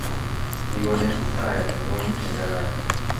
Kikonech kiptayat ngwany nekararan